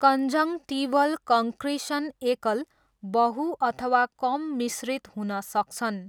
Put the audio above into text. Conjunctival concretion एकल, बहु, अथवा कम मिश्रित हुन सक्छन्।